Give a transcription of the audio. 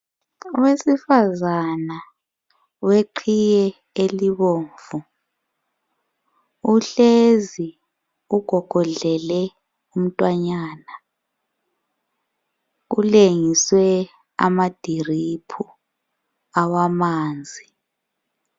Owesifazana oweqhiye elibomvu uhlezi ugogodlele umntwanyana. Kulengiswe amadiliphu awamanzi.